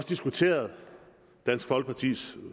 diskuteret dansk folkepartis